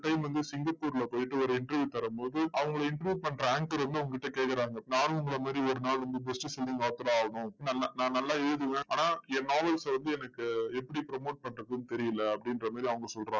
இவங்க வந்து சிங்கப்பூர்ல போயிட்டு ஒரு interview தரும்போது அங்கள interview பண்ற anchor வந்து அவங்க கிட்ட கேக்குறாங்க. நானும் உங்களை மாதிரி ஒரு நாள் வந்து best selling author ஆகணும். நல்லா~நான் நல்லா எழுதுவேன். ஆனால் என் novels வந்து எனக்கு எப்படி promote பண்றதுன்னு தெரியல. அப்படின்ற மாதிரி அவங்க சொல்றாங்க.